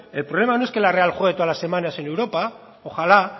el problema no es que la real juegue todas las semanas en europa ojalá